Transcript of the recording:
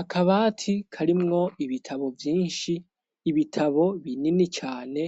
Akabati karimwo ibitabo vyinshi ibitabo binini cane